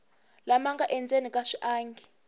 lama nga endzeni ka swiangi